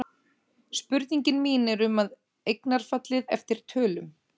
Spurningin mín er um eignarfallið eftir tölum.